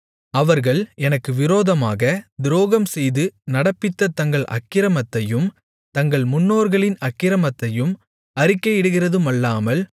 அவர்கள் எனக்கு விரோதமாகத் துரோகம் செய்து நடப்பித்த தங்கள் அக்கிரமத்தையும் தங்கள் முன்னோர்களின் அக்கிரமத்தையும் அறிக்கையிடுகிறதுமல்லாமல்